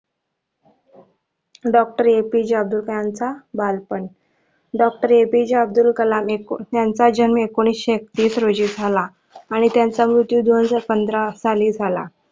doctorAPJ Abdul Kalam चा बालपण Doctor APJ यांचा जन्म एकोणीशे एकतीस रोजी झाला आणि त्याचा मृत्यु दोन हजार पंधरा साली झाला.